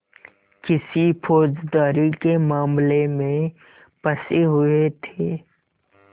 किसी फौजदारी के मामले में फँसे हुए थे